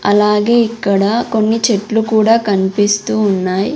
అలాగే ఇక్కడ కొన్ని చెట్లు కూడా కనిపిస్తూ ఉన్నాయ్.